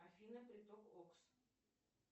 афина приток окс